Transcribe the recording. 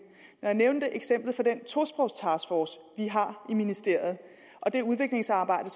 når jeg nævnte eksemplet fra den tosprogstaskforce vi har i ministeriet og det udviklingsarbejde